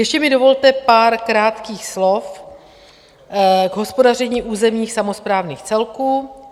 Ještě mi dovolte pár krátkých slov k hospodaření územních samosprávných celků.